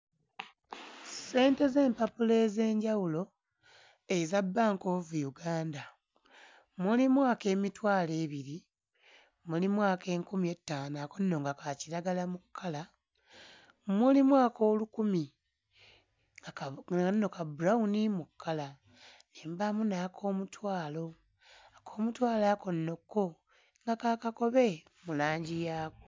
Ssente z'empapula ez'enjawulo eza Bank of Uganda. Mulimu ak'emitwalo ebiri, mulimu ak'enkumi ettaano ako nno nga ka kiragala mu kkala, mulimu ak'olukumi nga kano nno ka bulawuni mu kkala, ne mubaamu n'ak'omutwalo; ak'omutwalo ako nno kko nga ka kakobe mu langi yaako.